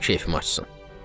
Mənim keyfim açılsın.